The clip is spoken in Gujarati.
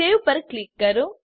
સવે પર ક્લિક કરો